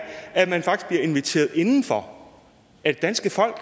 at man faktisk bliver inviteret indenfor af det danske folk